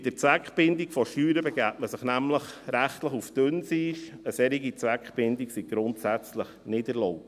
Mit der Zweckbindung von Steuern begebe man sich nämlich rechtlich auf dünnes Eis, eine solche Zweckbindung sei grundsätzlich nicht erlaubt.